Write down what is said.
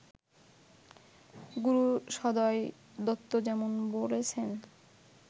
গুরু সদয় দত্ত যেমন বলেছেন